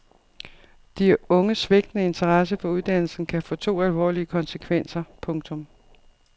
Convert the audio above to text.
De unges svigtende interesse for uddannelsen kan få to alvorlige konsekvenser. punktum